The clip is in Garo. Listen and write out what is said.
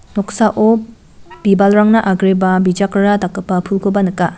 noksao bibalrangna agreba bijakrara dakgipa pulkoba nika.